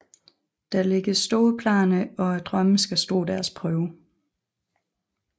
Der lægges store planer og drømmene skal stå deres prøve